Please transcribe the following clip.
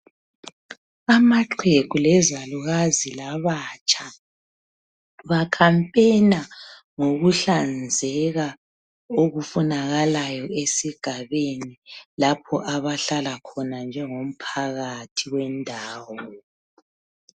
Amaxhegu lezalukazi labatsha bakhampena ngokuhlanzeka okufunakalayo esigabeni lapho abahlala khona njengomphakathi wendawo .